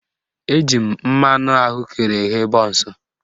Eji mmanụ ahụekere eghe bọnsụ